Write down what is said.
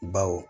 Baw